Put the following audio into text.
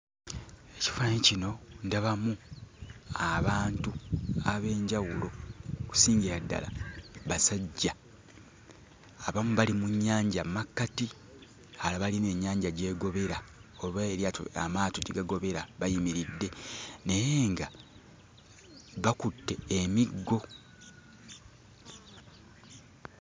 Ekifaananyi kino ndabamu abantu ab'enjawulo okusingira ddala basajja. Abamu bali mu nnyanja mu makkati, abalala bali eno ennyanja gy'egobera oba amaato gye gagobera bayimiridde. Naye nga bakutte emiggo.